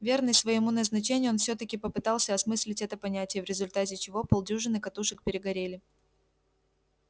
верный своему назначению он всё-таки попытался осмыслить это понятие в результате чего полдюжины катушек перегорели